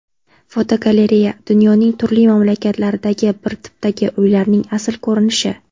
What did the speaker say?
Fotogalereya: Dunyoning turli mamlakatlaridagi bir tipdagi uylarning asl ko‘rinishi.